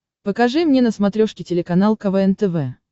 покажи мне на смотрешке телеканал квн тв